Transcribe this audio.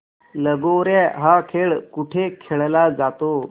लगोर्या हा खेळ कुठे खेळला जातो